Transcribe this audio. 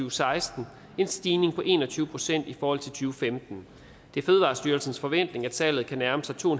og seksten en stigning på en og tyve procent i forhold til to femten det er fødevarestyrelsens forventning at salget kan nærme sig to